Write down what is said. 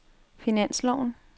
finansloven